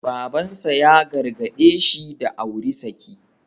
Baban sa ya gargaɗe shi da auri saki.